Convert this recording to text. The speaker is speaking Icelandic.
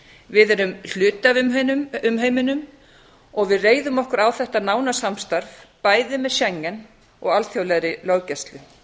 við erum hluti af um heiminum og við reiðum okkur á þetta nána samstarf bæði með schengen og alþjóðlegri löggæslu